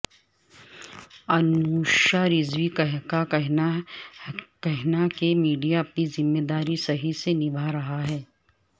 انوشا رضوی کا کہنا کہ میڈیا اپنی ذمہ داری صحیح سے نبھارہا ہے